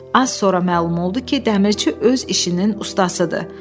Az sonra məlum oldu ki, dəmirçi öz işinin ustasıdır.